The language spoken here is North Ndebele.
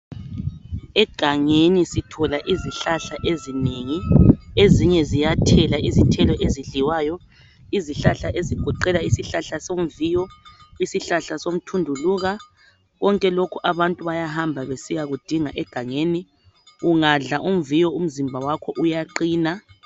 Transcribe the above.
Egangeni sithola izihlahla ezinengi ezinye ziyathela izithelo ezidliwayo ezigoqela isihlahla somviyo isihlahla somthunduluka konke lokhu abantu bayahamba besiya kudinga egangeni ungadla umviyo umzimba wakho uyaqina.